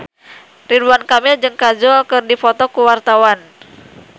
Ridwan Kamil jeung Kajol keur dipoto ku wartawan